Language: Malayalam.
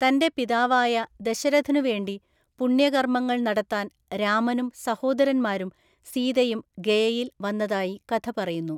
തന്റെ പിതാവായ ദശരഥനുവേണ്ടി പുണ്യകർമങ്ങൾ നടത്താൻ രാമനും സഹോദരന്മാരും സീതയും ഗയയിൽ വന്നതായി കഥ പറയുന്നു.